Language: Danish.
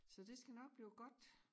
Så det skal nok blive godt